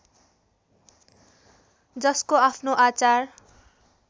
जसको आफ्नो आचार